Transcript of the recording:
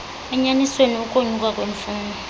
enyanisweni ukonyuka kwemfuno